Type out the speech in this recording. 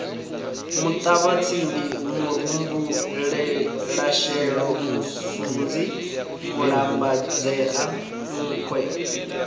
muṱavhatsindi murumbulasheḓo musunzi mulambadzea nkhwe